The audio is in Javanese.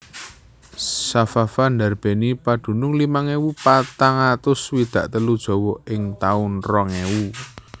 Safafa ndarbèni padunung limang ewu patang atus swidak telu jiwa ing taun rong ewu